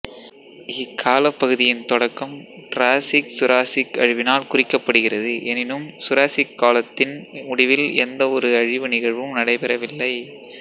இக்காலப்பகுதியின் தொடக்கம் டிராசிக்சுராசிக் அழிவினால் குறிக்கப்படுகிறது எனினும் சுராசிக் காலத்தின் முடிவில் எந்தவொரு அழிவு நிகழ்வும் நடைபெறவில்லை